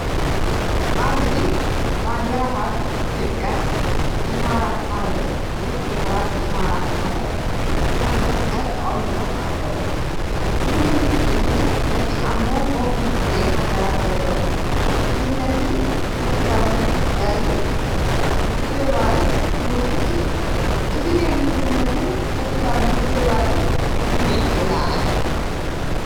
ኣብዚ ባንዴራታት ኢትዮጵያን ኢማራት ዓረብን (ሕቡራት ኢማራት ዓረብ) ከም መስቀል ተቐሚጦም ኣለዉ። እዚ ምልክት እዚ ነቲ ኣብ መንጎ ክልቲአን ሃገራት ዘሎ ምሕዝነትን ሓድሕዳዊ ምትሕግጋዝን ምትሕብባርን ዝውክል እዩ። እዙይ ናይ ምሕዝነትን ሓድሕዳዊ ምክብባርን ስምዒት የለዓዕል።